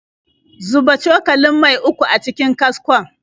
Zuba cokalin mai uku a cikin kaskon.